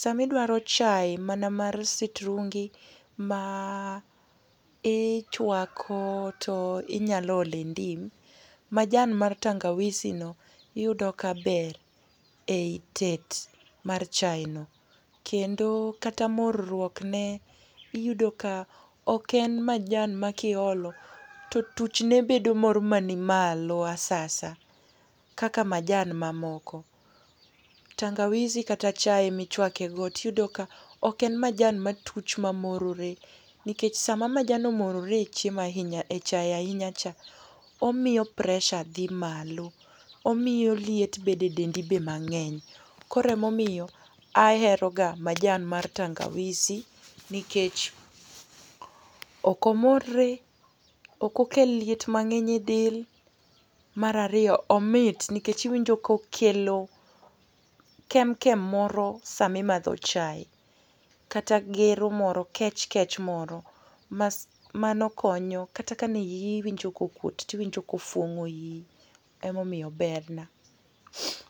Sa ma idwaro chae mana mar sitrungi ma ichwako to inyalo ole ndim. Majan mar tangawisi no iyudo ka ber ei tet mar chae no. Kendo kata marruok ne iyudo ka ok en majan ma kiolo to tuch ne bedo moro mani malo asasa kaka majan mamoko. Tangawisi kata chae michwake go, tiyudo ka ok en majan matuch mamorore, nikech sama majan omorore e chiemo ahinya, e chae ahinya cha, omiyo pressure dhi malo. Omiyo liet bede dendi be mang'eny. Koro ema omiyo, aheroga majan mar tangawisi, nikech ok omorre, ok okel liet mang'eny e del. Mar ariyo omit, tiwinjo kokelo kemkem moro sama imedho chae, kata gero moro, kech kech moro. Mano konyo. Kata ka ne iyi iwinjo ka okwot, to iwinjo ka ofuong'o iyi. Ema omiyo ober na.